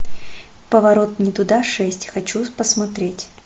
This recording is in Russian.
поворот не туда шесть хочу посмотреть